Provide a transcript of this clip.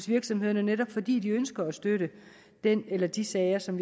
virksomheder netop fordi de ønsker at støtte den eller de sager som